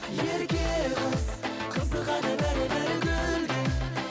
ерке қыз қызығады бәрі бәрі гүлге